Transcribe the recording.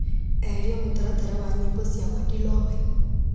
Eheria mũtaratara wa nyĩmbo cia Madilowe.